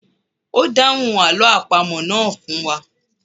O dáhùn àlọ́ àpamọ̀ náà fún wa